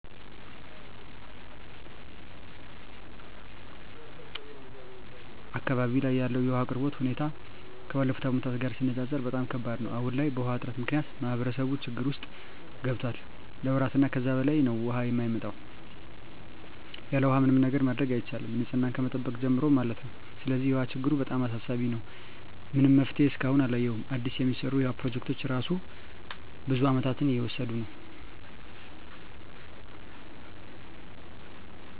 አካባቢው ላይ ያለው የውሃ አቅርቦት ሁኔታ ከባለፉት አመታት ጋር ሲነፃፀር በጣም ከባድ ነው። አሁን ላይ በውሃ እጥረት ምክንያት ማህበረሰቡ ችግር ውስጥ ገብቷል ለወራት እና ከዛ በላይ ነው ውሃ የማይመጣው። ያለውሃ ምንም ነገር ማድረግ አይቻልም ንፅህናን ከመጠበቅ ጀምሮ ማለት ነው። ስለዚህ የውሃ ችግሩ በጣም አሳሳቢ ነው። ምንም መፍትሄ እስካሁን አላየሁም አዲስ የሚሰሩ የውሃ ፕሮጀክቶች እራሱ ብዙ አመታትን እየወሰዱ ነው።